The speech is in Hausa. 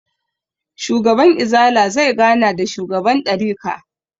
Shugaban izala zai gana da shugaban ɗarika